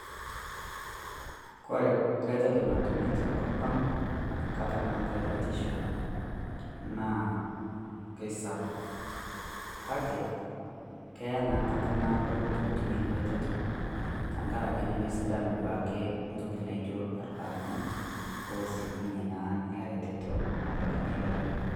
Kore reteto natumi tenkopang nkata naatai batisho naa keisapuk kake keyaa naa enkata naado pootum ina reteto tenkaraki nemesidau duake ntoki naaijio irbarabarani ooshukunyie naa ina reteto abaikinyie lorere.